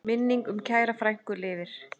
Minning um kæra frænku lifir.